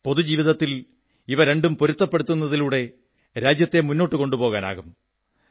പൊതു ജീവിതത്തിൽ ഇവ രണ്ടും പൊരുത്തപ്പെടുത്തപ്പെടുന്നതിലൂടെ രാജ്യത്തെ മുന്നോട്ടു കൊണ്ടുപോകാനാകും